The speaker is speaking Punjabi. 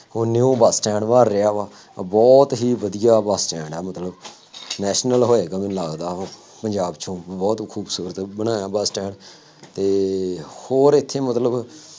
ਹੁਣ new ਬੱਸ ਸਟੈਂਡ ਬਣ ਰਿਹਾ ਵਾ, ਬਹੁਤ ਹੀ ਵਧੀਆਂ ਬੱਸ ਸਟੈਡ ਵਾ, ਮਤਲਬ national ਹੋਏਗਾ ਮੈਨੂੰ ਲੱਗਦਾ ਉਹ, ਪੰਜਾਬ ਚ ਹੁਣ ਬਹੁਤ ਖੂਬਸੂਰਤ ਬਣਾਇਆ ਬੱਸ ਸਟੈਂਡ ਅਤੇ ਹੋਰ ਇੱਥੇ ਮਤਲਬ